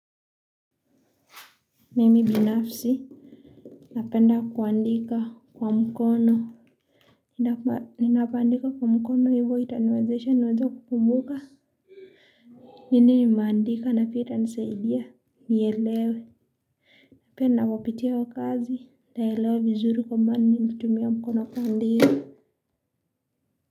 Mimi binafsi, napenda kuandika kwa mkono. Ninapoandika kwa mkono hivyo itaniwezesha niweze kukumbuka. Nini imeandika na pia itanisaidia. Nielewe, pia napopitia wa kazi. Naelewa vizuri kwa maana nimetumia mkono kwa ndio.